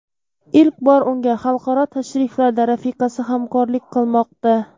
Ilk bor unga xalqaro tashriflarda rafiqasi hamkorlik qilmoqda.